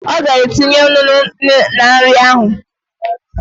Ee, ọ ga-etinye ńnú na nri ahụ